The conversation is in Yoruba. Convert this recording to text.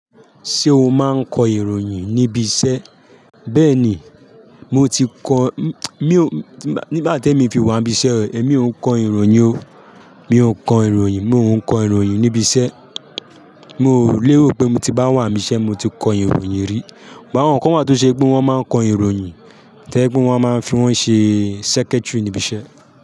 Ṣé o máa ń kọ ìròyìn níbi iṣẹ́? Bẹ́ẹ̀ni, mo ti kọ-- mi o nígbà tí èmi fi wà níbi iṣẹ́, èmi ò ń kọ ìròyìn o, mi ò ń kọ ìròyìn, mi ò ń kọ ìròyìn níbi iṣẹ́. Mi o lè rò pé mo ti bá wà níbi iṣẹ́, mo ti kọ ìròyìn rí. But á wọ̀n kan wá tó ṣe pé wọ́n máa ń kọ ìròyìn, tẹ́ kí wọ́n máa ń fi wọ́n ṣe secretary níbi iṣẹ́